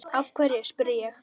Af hverju? spurði ég.